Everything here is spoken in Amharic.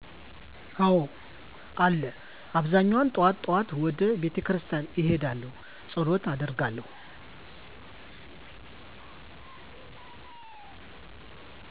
አዎ አለ አብዛኛው ጥዋት ጥዋት ወደ ቤተክርስቲያን እሄዳለሁ ፀሎት አደርጋለሁ።